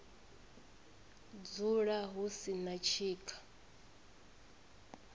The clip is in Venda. dzula hu si na tshika